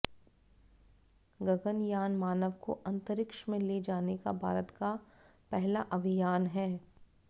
गगनयान मानव को अंतरिक्ष में ले जाने का भारत का पहला अभियान है